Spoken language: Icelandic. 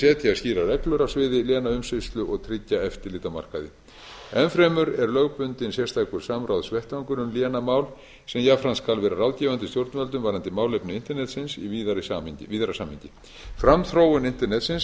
setja skýrar reglur á sviði lénaumsýslu og tryggja eftirlit á markaði enn fremur er lögbundinn sérstakar samráðsvettvangur um lénamál sem jafnframt skal vera ráðgefandi stjórnvöldum varðandi málefni internetsins í víðara samhengi framþróun internetsins